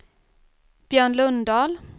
Björn Lundahl